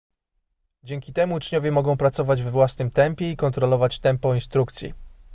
dzięki temu uczniowie mogą pracować we własnym tempie i kontrolować tempo instrukcji